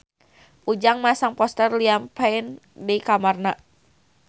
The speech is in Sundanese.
Ujang masang poster Liam Payne di kamarna